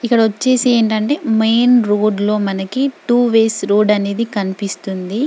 ఇక్కడ వచ్చేసి ఏంటంటే మెయిన్ రోడ్ లో మనకి టూ వేస్ రోడ్ అనేది కనిపిస్తుంది.